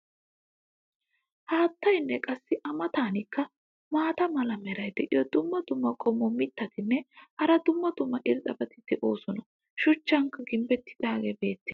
haattaynne qassi a matankka maata mala meray diyo dumma dumma qommo mitattinne hara dumma dumma irxxabati de'oosona. shuchcha gimbeekka beetees.